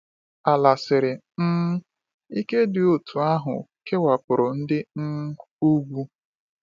Ala siri um ike dị otú ahụ kewapụrụ ndị um ugwu.